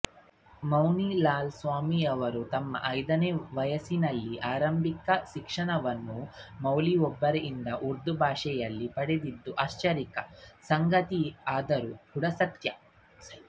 ಮುನಿ ಲಾಲ್ ಸ್ವಾಮಿಯವರು ತಮ್ಮ ಐದನೇ ವಯಸ್ಸಿನಲ್ಲಿ ಆರಂಭಿಕ ಶಿಕ್ಷಣವನ್ನು ಮೌಲ್ವಿಯೊಬ್ಬರಿಂದ ಉರ್ದುಭಾಷೆಯಲ್ಲಿ ಪಡೆದಿದ್ದು ಆಶ್ಚರ್ಯಕರ ಸಂಗತಿಯಾದರೂ ಕೂಡ ಸತ್ಯ